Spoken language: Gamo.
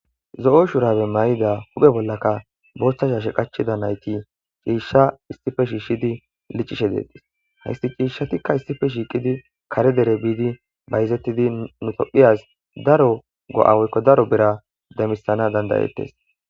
zo'o shurabe may'ida huphe bollaka booththa shaashe qachida nayti ciishsha istife shiishidi licishe deetis haysti ciishshatikka istife shiiqidi kare dere biidi bayzettidi nutophiyaz daro go'awoykko daro bera demisana danda'ettes